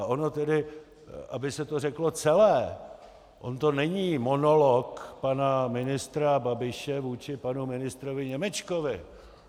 A ono tedy, aby se to řeklo celé, on to není monolog pana ministra Babiše vůči panu ministru Němečkovi.